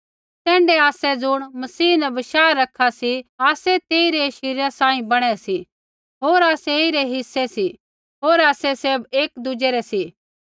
तैण्ढै आसै ज़ुण मसीह न बशाह रखा सी आसै तेइरै शरीरा सांही बणै सी होर आसै ऐईरै हिस्से सी होर आसै सैभ एकी दुज़ै रै सी